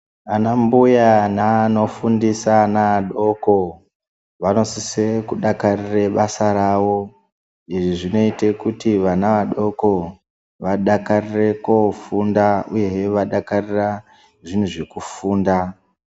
Ana mbuya neano fundisa ana adoko. Vanosise kudakarira basa ravo, izvi zvinoita kuti vana vadoko vadakarire kofunda uye hee vadakarire zvinhu zvekufunda.